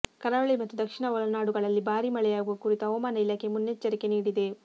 ಕರಾವಳಿ ಮತ್ತು ದಕ್ಷಿಣ ಒಳನಾಡುಗಳಲ್ಲಿ ಭಾರಿ ಮಳೆಯಾಗುವ ಕುರಿತು ಹವಾಮಾನ ಇಲಾಖೆ ಮುನ್ನೆಚ್ಚರಿಕೆ ನೀಡಿದೆ